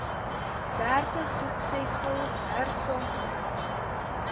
dertig suksesvol hersaamgestelde